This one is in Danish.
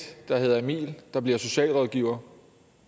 der hedder emil der bliver socialrådgiver